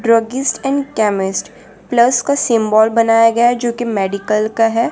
Druggist and chemist plus का symbol बनाया गया जो कि मेडिकल का है।